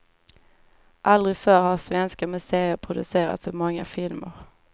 Aldrig förr har svenska museer producerat så många filmer.